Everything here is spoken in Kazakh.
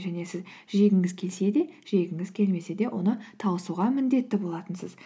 және сіз жегіңіз келсе де жегіңіз келмесе де оны тауысуға міндетті болатынсыз